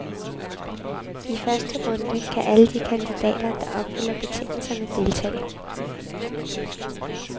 I første runde kan alle de kandidater, der opfylder betingelserne, deltage.